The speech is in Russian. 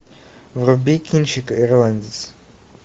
вруби кинчик ирландец